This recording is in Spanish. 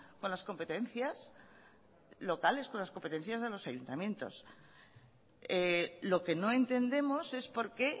con las competencias locales con las competencias de los ayuntamientos lo que no entendemos es por qué